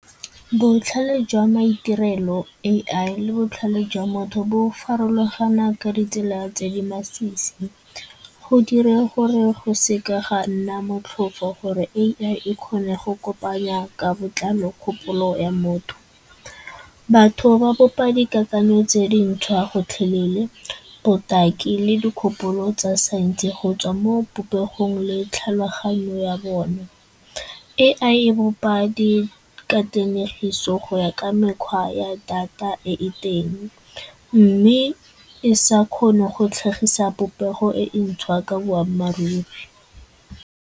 Botlhale jwa maitirelo A_I le botlhale jwa motho bo farologana ka ditsela tse di masisi go direng gore go seka ga nna motlhofo gore A_I e kgone go kopanya ka botlalo kgopolo ya motho. Batho ba bopa dikakanyo tse dintshwa gotlhelele, botaki le dikgopolo tsa saense gotswa mo popegong le tlhaloganyo ya bone. A_I e bopa dikatlanegiso go ya ka mekgwa ya data e e teng mme e sa kgone go tlhagisa popego e ntšhwa ka boammaaruri.